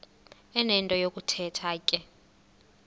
enento yokuthetha ke